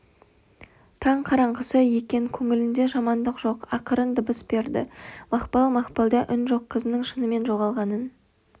таң қараңғысы екен көңілінде жамандық жоқ ақырын дыбыс берді мақпал мақпалда үн жоқ қызының шынымен жоғалғанын